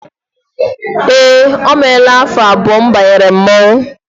Eé, o meela afọ abụọ m banyere mmọnwụ.